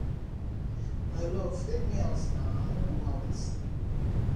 my love take me out naa i wan go out